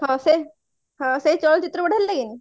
ହଁ ସେ ହଁ ସେ ଚଳଚିତ୍ର ବଢିଆ ଲାଗେନି